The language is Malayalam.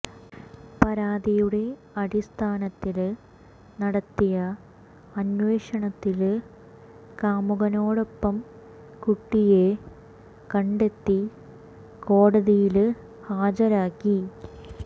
പരാതിയുടെ അടിസ്ഥാനത്തില് നടത്തിയ അന്വേഷണത്തില് കാമുകനോടൊപ്പം കുട്ടിയെ കണ്ടെത്തി കോടതിയില് ഹാജരാക്കി